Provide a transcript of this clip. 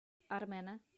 армена